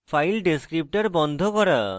file descriptor বন্ধ করা